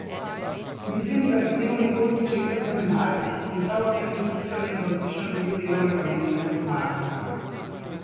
Mislim, da ne smemo nikoli ničesar zanemariti in prav s tem prepričanjem vam pišem glede delovnega mesta informatika.